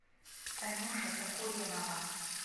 танюша токуренова